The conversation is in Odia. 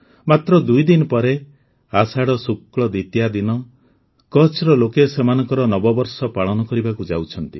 ମାତ୍ର ଦୁଇ ଦିନ ପରେ ଆଷାଢ଼ ଶୁକ୍ଳ ଦ୍ୱିତୀୟା ଦିନ କଚ୍ଛର ଲୋକେ ସେମାନଙ୍କର ନବବର୍ଷ ପାଳନ କରିବାକୁ ଯାଉଛନ୍ତି